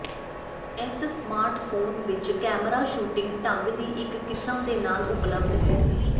ਇਸ ਸਮਾਰਟਫੋਨ ਵਿੱਚ camera shooting ਢੰਗ ਦੀ ਇੱਕ ਕਿਸਮ ਦੇ ਨਾਲ ਉਪਲਬਧ ਹੈ